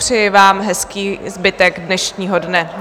Přeji vám hezký zbytek dnešního dne.